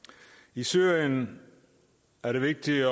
i syrien er det vigtigt at